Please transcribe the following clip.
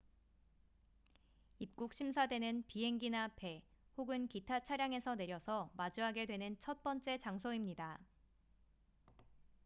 입국 심사대는 비행기나 배 혹은 기타 차량에서 내려서 마주하게 되는 첫 번째 장소입니다